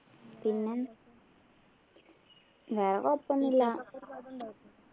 പിന്നെ വേറെ ഇപ്പൊന്നുല്ല